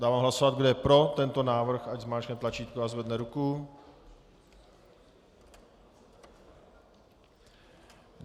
Dávám hlasovat, kdo je pro tento návrh, ať zmáčkne tlačítko a zvedne ruku.